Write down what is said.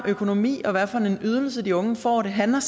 økonomi og hvad for en ydelse de unge får det handler